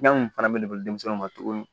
Fɛn mun fana bɛ ne bolo denmisɛnninw ma tuguni